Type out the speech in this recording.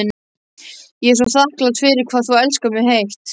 Ég er svo þakklát fyrir hvað þú elskar mig heitt.